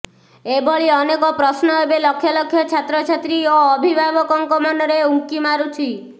ଏଭଳି ଅନେକ ପ୍ରଶ୍ନ ଏବେ ଲକ୍ଷ ଲକ୍ଷ ଛାତ୍ରଛାତ୍ରୀ ଓ ଅଭିଭାବକଙ୍କ ମନରେ ଉଙ୍କି ମାରୁଛି